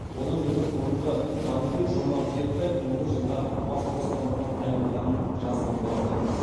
одан бөлек бұрынғы банкир жомарт ертаев он бір жылға бас бостандығынан айырылғанын жазған болатынбыз